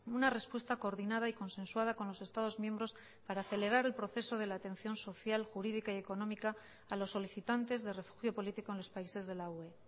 una respuesta coordinada y consensuada con los estados miembros para acelerar el proceso de la atención social jurídica y económica a los solicitantes de refugio político en los países de la ue